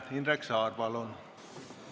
Indrek Saar, palun!